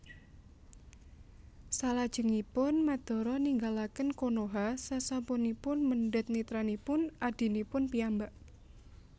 Salajengipun Madara ninggalaken Konoha sasampunipun mendhet netranipun adhinipun piyambak